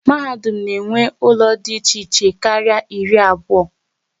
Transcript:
Mahadum na enwe ụlọ dị iche iche kárírí iri na abụọ